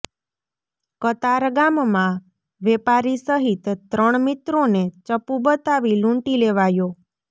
કતારગામમાં વેપારી સહિત ત્રણ મિત્રોને ચપ્પુ બતાવી લૂંટી લેવાયો